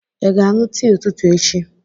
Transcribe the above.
Ị ga-aṅụ tii ụtụtụ echi?